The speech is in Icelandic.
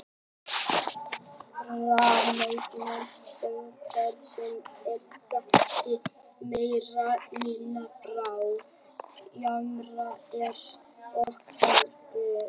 Framangreind umhverfisáhrif eru þekkt í meira eða minna mæli frá jarðhitavirkjunum hérlendis og erlendis.